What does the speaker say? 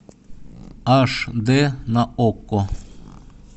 аш дэ на окко